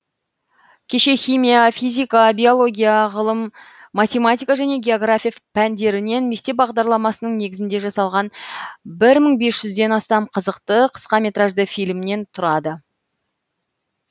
кешен химия физика биология ғылым математика және география пәндерінен мектеп бағдарламасының негізінде жасалған бір мың бес жүзден астам қызықты қысқа метражды фильмнен тұрады